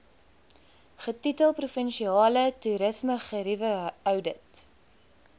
getitel provinsiale toerismegerieweoudit